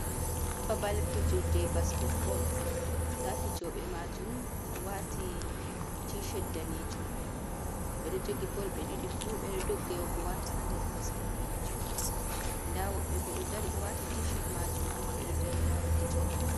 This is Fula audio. Babal fijirde basket bol, ndaa fijooɓe maajum ɗo waati tii shet daneejum ɓe ɗo jogi bol ɓe ɗiɗi fuu ɓe do dogga yahugo waata haa nder basket maajum, ndaa woɓɓe boo ɗo waati tii shet maajum, amma ɓe ɗo dari laara fijooɓe man.